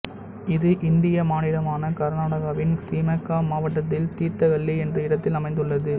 இது இந்திய மாநிலமான கர்நாடகவின் சீமக்கா மாவட்டத்தில் தீர்த்தஹள்ளி என்ற இடத்தில் அமைந்துள்ளது